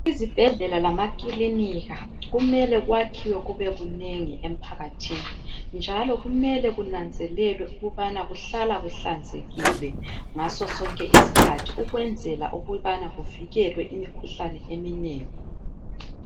Izibhedlela lamakilinika kumele kwakhiwe kube kunengi emphakathini njalo kumele kunanzelelwe ukubana kuhlala kuhlanzekile ngaso sonke isikhathi ukwenzela ukubana kuvikelwe imikhuhlane eminengi.